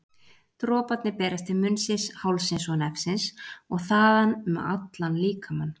Droparnir berast til munnsins, hálsins og nefsins og þaðan um allan líkamann.